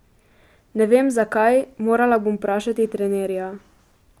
Ne vem, zakaj, morala bom vprašati trenerja.